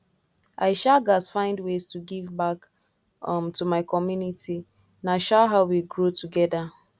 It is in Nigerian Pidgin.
i um gats find ways to give back um to my community na um how we go grow together